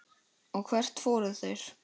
Og hvert fóru þeir?